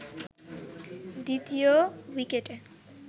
দ্বিতীয় উইকেটে